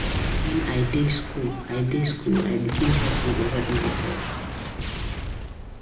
Na wen I dey skool I dey skool I begin hustle dey help mysef.